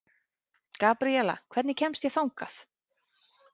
Gabriela, hvernig kemst ég þangað?